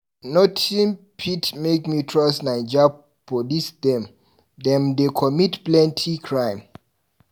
Notin fit make me trust Naija police dem, dem dey commit plenty crime.